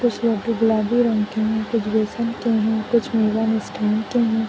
कुछ गुलाबी रंग के हैं कुछ बेसन के हैं कुछ मेवा मिष्ठान के हैं।